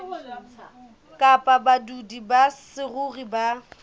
kapa badudi ba saruri ba